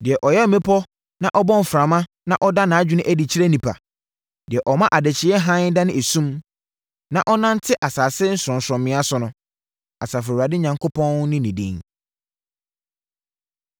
Deɛ ɔyɛ mmepɔ na ɔbɔ mframa na ɔda nʼadwene adi kyerɛ nnipa, deɛ ɔma adekyeɛ hann dane esum na ɔnante asase sorɔnsorɔmmea so no. Asafo Awurade Onyankopɔn ne ne din.